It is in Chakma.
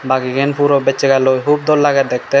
bagigan puro bech sagalloi hup dol lage dekken.